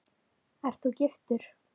Ert þú giftur?